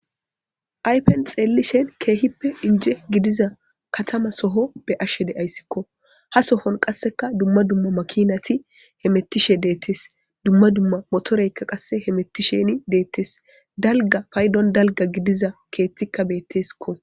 aypen xeelli shen keehippe inje gidiza katama soho be ashshe de ayssikko ha sohon qasseka dumma dumma makinati he mettishe deettes dumma dumma motoreykka qasse he mettisheni deettes dalga paydon dalga gidiza keettikka beetteskko